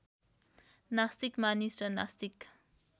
नास्तिक मानिस र नास्तिक